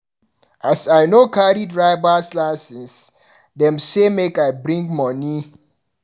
As I no carry drivers licence, dem say make I bring money.